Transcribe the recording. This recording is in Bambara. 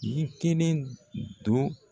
Nin kelen don